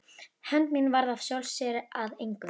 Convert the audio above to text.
Hefnd mín varð af sjálfu sér að engu.